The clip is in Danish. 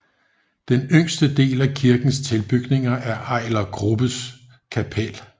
Den yngste del af kirkens tilbygninger er Ejler Grubbes Kapel